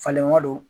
Falenko do